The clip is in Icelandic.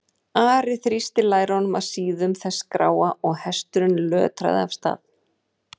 Ari þrýsti lærum að síðum þess gráa og hesturinn lötraði af stað.